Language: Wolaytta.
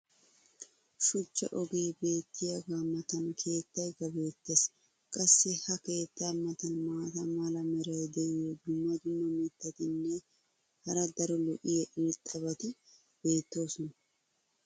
Shuchcha ogee beetiyaagaa matan keettaykka beetees. qassi ha keettaa matan maata mala meray diyo dumma dumma mitatinne hara daro lo'iya irxxabati beetoosona.